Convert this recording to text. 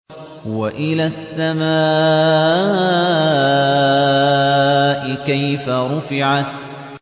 وَإِلَى السَّمَاءِ كَيْفَ رُفِعَتْ